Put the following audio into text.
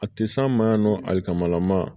A tɛ s'an ma yan nɔ ali kamalama